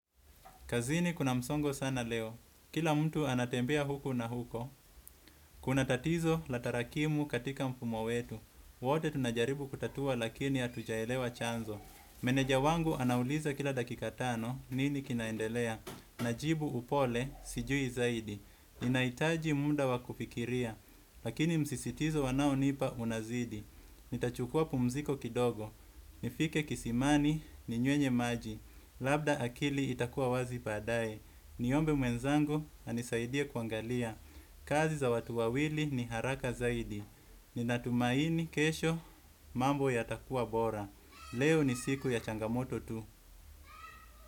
Kazini kuna msongo sana leo. Kila mtu anatembea huku na huko. Kuna tatizo la tarakimu katika mfumo wetu. Wote tunajaribu kutatua lakini hatujaelewa chanzo. Meneja wangu anauliza kila dakika tano nini kinaendelea. Najibu upole sijui zaidi. Ninahitaji muda wa kufikiria. Lakini msisitizo anaonipa unazidi nitachukua pumziko kidogo. Nifike kisimani ni nyuenye maji. Labda akili itakuwa wazi baadaye. Niombe mwenzangu anisaidie kuangalia. Kazi za watu wawili ni haraka zaidi. Ninatumaini kesho mambo yatakua bora. Leo ni siku ya changamoto tu.